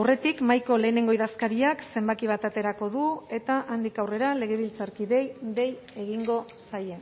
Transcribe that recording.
aurretik mahaiko lehenengo idazkariak zenbaki bat aterako du eta handik aurrera legebiltzarkideei dei egingo zaie